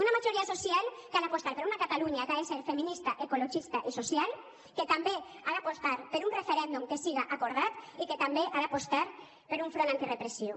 una majoria social que ha d’apostar per una catalunya que ha de ser feminista ecologista i social que també ha d’apostar per un referèndum que siga acordat i que també ha d’apostar per un front antirepressiu